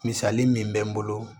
Misali min bɛ n bolo